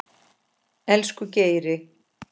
Elsku Geiri.